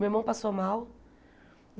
Meu irmão passou mal.